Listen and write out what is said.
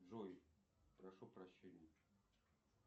джой прошу прощения